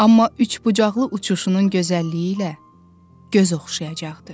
Amma üçbucaqlı uçuşunun gözəlliyi ilə göz oxşayacaqdı.